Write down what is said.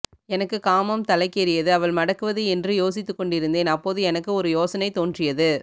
எனக்கு காமம் தலைக்கேறியது அவள் மடக்குவது என்று யோசித்துக்கொண்டிருந்தேன் அப்போது எனக்கு ஒரு யோசனை தோன்றியது